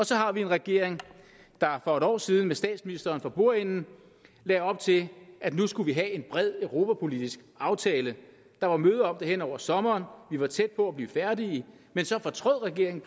så har vi en regering der for et år siden med statsministeren for bordenden lagde op til at nu skulle vi have en bred europapolitisk aftale der var møder det hen over sommeren vi var tæt på at blive færdige men så fortrød regeringen